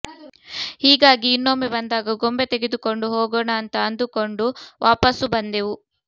ಹೀಗಾಗಿ ಇನ್ನೊಮ್ಮೆ ಬಂದಾಗ ಗೊಂಬೆ ತೆಗೆದುಕೊಂಡು ಹೋಗೋಣ ಅಂತ ಅಂದುಕೊಂಡು ವಾಪಸ್ಸು ಬಂದೆವು